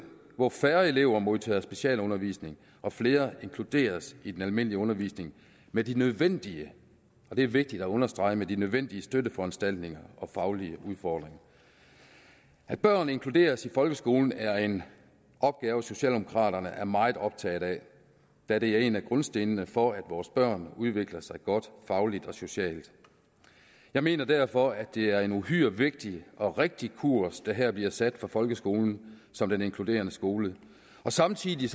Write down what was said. hvor færre elever modtager specialundervisning og flere inkluderes i den almindelige undervisning med de nødvendige og det er vigtigt at understrege med de nødvendige støtteforanstaltninger og faglige udfordringer at børn inkluderes i folkeskolen er en opgave socialdemokraterne er meget optaget af da det er en af grundstenene for at vores børn udvikler så godt fagligt og socialt jeg mener derfor at det er en uhyre vigtig og rigtig kurs der her bliver sat for folkeskolen som den inkluderende skole og samtidig